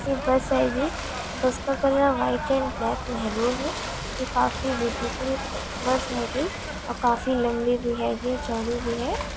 एक बस हैगी बस का colour white and black maroon है ये काफी ब्यूटीफुल बस हैगी और काफी लम्बी भी हैगी और चौड़ी भी है।